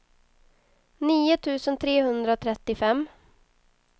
nio tusen trehundratrettiofem